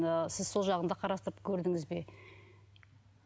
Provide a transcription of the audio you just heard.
ы сіз сол жағын да қарастырып көрдіңіз бе